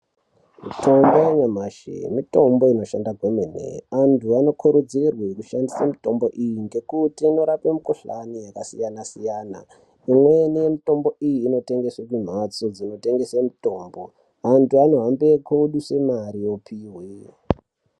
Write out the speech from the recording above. Mitombo yanyamashi mitombo inoshanda kwemene antu anokurudzirwe kushandise mitombo iyi ngekuti inorape mukhuhlani yakasiyana siyana, imweni yemitombo iyi inoyengeswe kumhatso dzinotengeswe mitombo antu anohambe koduse mare opihwe.